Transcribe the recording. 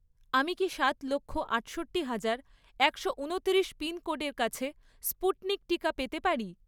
আমি কি সাত লক্ষ, আটষট্টি হাজার, একশো উনতিরিশ পিনকোডের কাছে স্পুটনিক টিকা পেতে পারি?